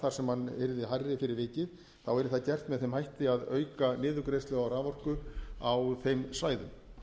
þar sem hann yrði hærri fyrir vikið þá yrði það gert með þeim hætti að auka niðurgreiðslu á raforku á þeim svæðum